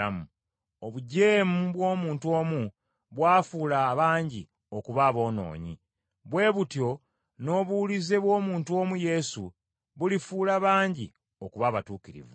Obujeemu bw’omuntu omu bwafuula abangi okuba aboonoonyi. Bwe butyo n’obuwulize bw’omuntu omu Yesu, bulifuula bangi okuba abatuukirivu.